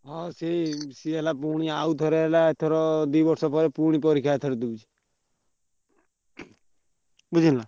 ହଁ ସିଏ ହେଲା ପୁଣି ଆଉଥରେ ହେଲା ଏଥର ଦି ବର୍ଷପରେ ପୁଣି ପରୀକ୍ଷା ଦଉଛି। ବୁଝିଲ ନାଁ।